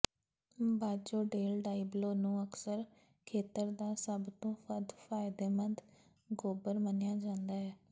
ਬਾਜੋ del Diablo ਨੂੰ ਅਕਸਰ ਖੇਤਰ ਦਾ ਸਭ ਤੋਂ ਵੱਧ ਫ਼ਾਇਦੇਮੰਦ ਗੋਬਰ ਮੰਨਿਆ ਜਾਂਦਾ ਹੈ